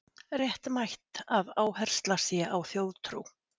Réttmætt að áhersla sé á þjóðtrú